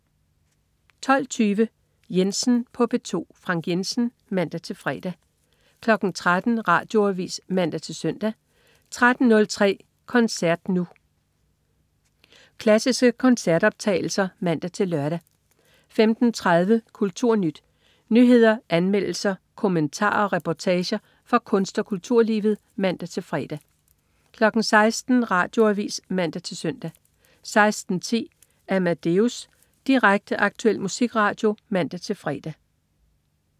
12.20 Jensen på P2. Frank Jensen (man-fre) 13.00 Radioavis (man-søn) 13.03 Koncert Nu. Klassiske koncertoptagelser (man-lør) 15.30 KulturNyt. Nyheder, anmeldelser, kommentarer og reportager fra kunst- og kulturlivet (man-fre) 16.00 Radioavis (man-søn) 16.10 Amadeus. Direkte, aktuel musikradio (man-fre)